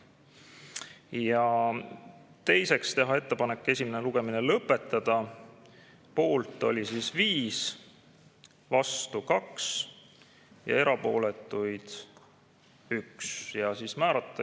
Ja teiseks, teha ettepanek esimene lugemine lõpetada – poolt oli 5, vastu 2 ja erapooletuid 1.